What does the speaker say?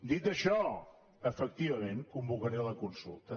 dit això efectivament convocaré la consulta